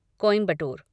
Coimbatore